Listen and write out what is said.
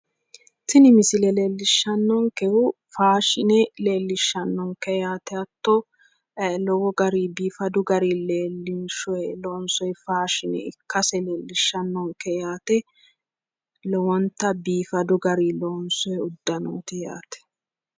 Tini misile leellishshannonkehu faashine leellishshannonke yaate hatto lowo gariyi biifadu gariyi leellinshoyi loonsoye faashine ikkase leellishshannonke yaate lowonta biifadu gariyi loonsoyi uddanooti yaate.